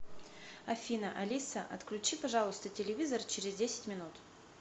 афина алиса отключи пожалуйста телевизор через десять минут